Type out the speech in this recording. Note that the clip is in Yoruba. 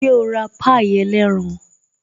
Ṣé o ra pie ẹlẹ́ran?